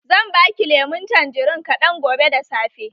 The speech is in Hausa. Zan baki lemun tanjirin kaɗan gobe da safe.